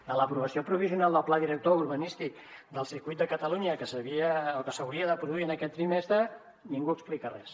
de l’aprovació provisional del pla director urbanístic del circuit de catalunya que s’havia o que s’hauria de produir en aquest trimestre ningú n’explica res